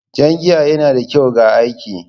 Jan giya yana da kyau ga jiki